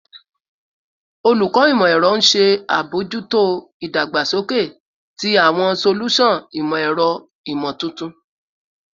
Olukọ Imọ-ẹrọ n ṣe abojuto idagbasoke ti awọn solusan imọ-ẹrọ imotuntun